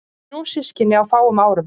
Þrjú systkini á fáum árum.